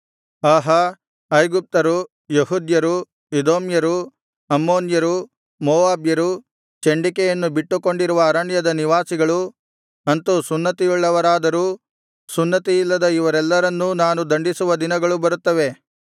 ಆಹಾ ಐಗುಪ್ತರು ಯೆಹೂದ್ಯರು ಎದೋಮ್ಯರು ಅಮ್ಮೋನ್ಯರು ಮೋವಾಬ್ಯರು ಚಂಡಿಕೆಯನ್ನು ಬಿಟ್ಟುಕೊಂಡಿರುವ ಅರಣ್ಯದ ನಿವಾಸಿಗಳು ಅಂತು ಸುನ್ನತಿಯುಳ್ಳವರಾದರೂ ಸುನ್ನತಿಯಿಲ್ಲದ ಇವರೆಲ್ಲರನ್ನೂ ನಾನು ದಂಡಿಸುವ ದಿನಗಳು ಬರುತ್ತವೆ